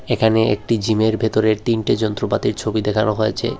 এখানে একটি জিমের ভেতরের তিনটি যন্ত্রপাতির ছবি দেখানো হয়েছে।